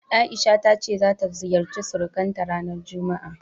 A'isha ta ce ta ziyarci surukanta ranar juma'a.